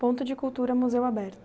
Ponto de Cultura Museu Aberto.